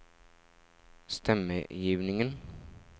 stemmegivningen